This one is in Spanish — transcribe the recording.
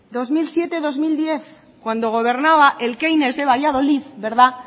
dos mil siete dos mil diez cuando gobernaba de valladolid